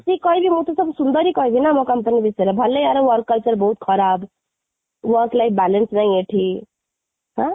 ମୁଁ ବି ଯଦି ଆସିକି କହିବି ମୁଁ ବି ସବୁ ସୁନ୍ଦର ହିଁ କହିବି ନା ମୋ company ବିଷୟରେ ଭଲ କି ତା'ର work culture ବହୁତ ଖରାପ, work like balance ନାହିଁ ଏଠି ହଁ,